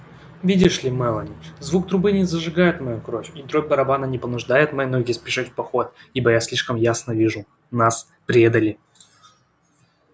видишь ли мелани звук трубы не зажигает мою кровь и дробь барабана не понуждает мои ноги спешить в поход ибо я слишком ясно вижу нас предали